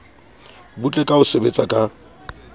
butle ka ho betsa ka